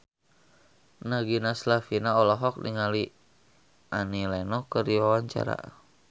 Nagita Slavina olohok ningali Annie Lenox keur diwawancara